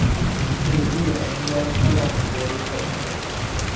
தெறியல எங்க பாத்தாலும் அந்த police காரனுங்க வேற